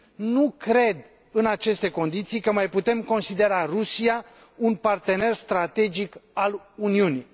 Nu cred, în aceste condiții, că mai putem considera Rusia un partener strategic al Uniunii.